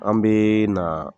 An bee na